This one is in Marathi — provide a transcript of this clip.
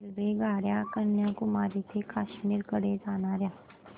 रेल्वेगाड्या कन्याकुमारी ते काश्मीर कडे जाणाऱ्या